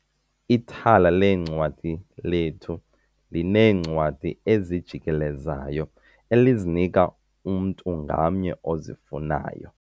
Ithala leencwadi lethu lineencwadi ezijikelezayo elizinika umntu ngamnye ozifunayo.